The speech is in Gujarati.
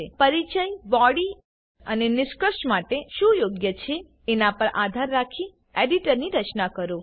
પરિચય બોડી અને નિષ્કર્ષ માટે શું યોગ્ય છે એના પર આધાર રાખી એડિટની રચના કરો